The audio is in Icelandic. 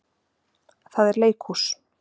Það er leikhús.